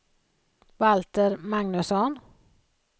Valter Magnusson